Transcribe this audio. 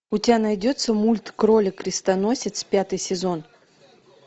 у тебя найдется мульт кролик крестоносец пятый сезон